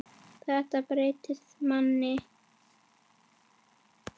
Þetta breytir manni.